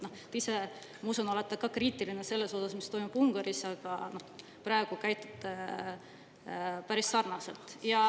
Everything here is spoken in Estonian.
Ma usun, et te olete ise ka kriitiline selle suhtes, mis toimub Ungaris, aga praegu käitute päris sarnaselt.